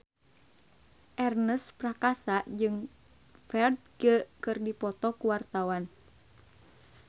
Ernest Prakasa jeung Ferdge keur dipoto ku wartawan